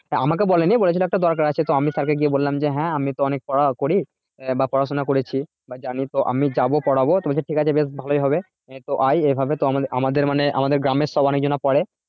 আমাকে বলেনি বলে ছিলো একটা দরকার আছে তো আমি sir কে গিয়ে বললাম যে হ্যাঁ আমি তো অনেক পড়া পড়ি আহ বা পড়াশোনা করেছি জানি তো আমি যাবো পড়াবো তো বলছে ঠিক আছে বেশ ভালোই হবে এই এ ভাবে তো আমাদের আমাদের মানে আমাদের গ্রামের সব অনেক জনা পরে